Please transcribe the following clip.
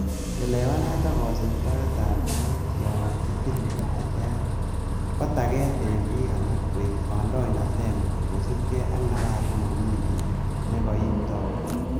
Chelewanet ak kosiibtoet ab git yon kitile tilet, kotaget en bik alak kooib kandoinatengung kosiibge ak napas nemomi kiy nekoitou.